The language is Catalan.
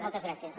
moltes gràcies